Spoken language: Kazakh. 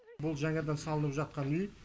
бұл жаңадан салынып жатқан үй